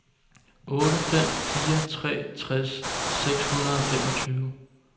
otte fem fire tre tres seks hundrede og femogtyve